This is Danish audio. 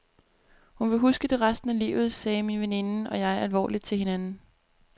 Hun vil huske det resten af livet, sagde min veninde og jeg alvorligt til hinanden.